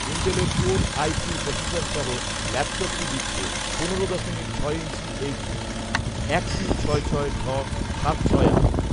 ইন্টেলের core i three processor সহ ল্যাপটপটি দিচ্ছে পনেরো দশমিক ছয় ইঞ্চি এইচডি এক তিন ছয় ছয় ঢ সাত ছয় আট